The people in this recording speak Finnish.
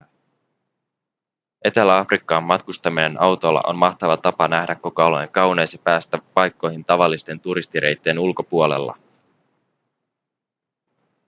etelä-afrikkaan matkustaminen autolla on mahtava tapa nähdä koko alueen kauneus ja päästä paikkoihin tavallisten turistireittien ulkopuolella